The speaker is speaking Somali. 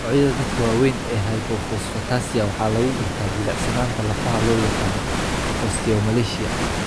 Noocyada dadka waaweyn ee hypophosphatasia waxaa lagu gartaa jilicsanaanta lafaha loo yaqaan osteomalacia.